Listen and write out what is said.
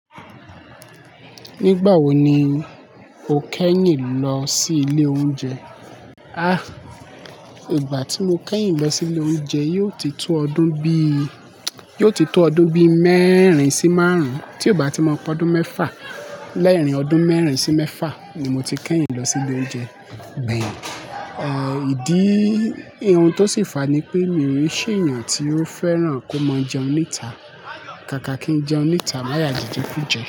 Nígbà wo ni o kẹ́yìn lọ sí ilé oúnjẹ? Ah, ìgbà tí mo kẹ́yìn lọ sí ilé oúnjẹ, yóò ti tó ọdún bí, yóò ti tó ọdún bí mẹ́rin sí márùn-ún. Tí ò bá ti mọ, pé ọdún mẹ́fà. Lẹ́rìn ọdún mẹ́rin sí mẹ́fà ni mo ti kẹ́yìn lọ sí ilé oúnjẹ. Bẹ́ẹ̀ni, eh ìdí ohun tó sì fàá ni pé, mi ò rí ṣe ènìyàn tí ó fẹ́ràn kó máa jẹun níta. Kàkà kí n jẹun níta, màá yà jíjẹkujẹ.